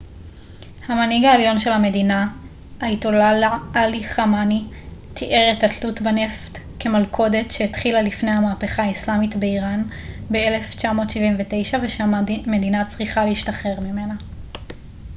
המנהיג העליון של המדינה אייתוללה עלי ח'אמנאי תיאר את התלות בנפט כ מלכודת שהתחילה לפני המהפכה האיסלאמית באיראן ב-1979 ושהמדינה צריכה להשתחרר ממנה